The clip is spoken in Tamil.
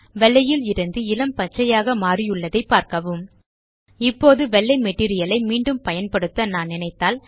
வெள்ளையில் இருந்து இளம் பச்சையாக மாறியுள்ளதை பாரக்கவும் இப்போது வெள்ளை மெட்டீரியல் ஐ மீண்டும் பயன்படுத்த நான் நினைத்தால்